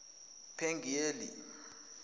pangiyeli